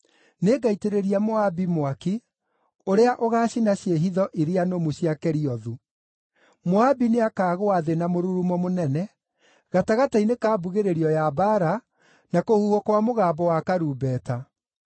nĩngaitĩrĩria Moabi mwaki ũrĩa ũgaacina ciĩhitho iria nũmu cia Keriothu. Moabi nĩakagũa thĩ na mũrurumo mũnene, gatagatĩ-inĩ ka mbugĩrĩrio ya mbaara, na kũhuhwo kwa mũgambo wa karumbeta.